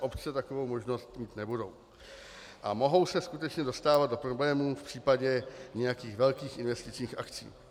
Obce takovou možnost mít nebudou a mohou se skutečně dostávat do problémů v případě nějakých velkých investičních akcí.